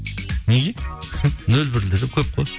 неге нөл бірлері көп қой